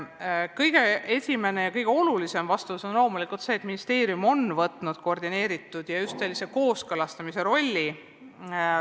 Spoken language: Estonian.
Kõige esimene ja kõige olulisem vastus on loomulikult see, et ministeerium on võtnud koordineeriva ja just sellise kooskõlastava rolli.